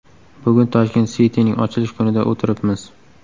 Bugun Tashkent City’ning ochilish kunida o‘tiribmiz.